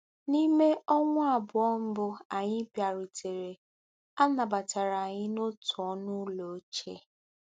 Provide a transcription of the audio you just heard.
N'ime ọnwa abụọ mbụ anyị bịarutere, a nabatara anyị n'otu ọnụ ụlọ ochie.